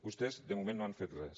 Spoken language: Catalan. vostès de moment no han fet res